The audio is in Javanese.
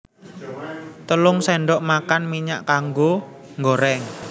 Telung sendok makan minyak kanggo nggoreng